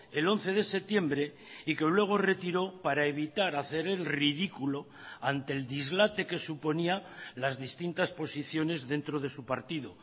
el once de septiembre y que luego retiró para evitar hacer el ridículo ante el dislate que suponía las distintas posiciones dentro de su partido